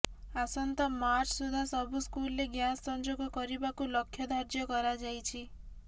ଆସନ୍ତା ମାର୍ଚ୍ଚା ସୁଦ୍ଧା ସବୁ ସ୍କୁଲରେ ଗ୍ୟାସ୍ ସଂଯୋଗ କରିବାକୁ ଲକ୍ଷ୍ୟଧାର୍ଯ୍ୟ କରାଯାଇଛି